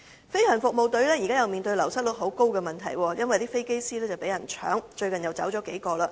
飛行服務隊現正面對流失率極高的問題，因為飛機師紛紛被挖角，最近又有數人離職。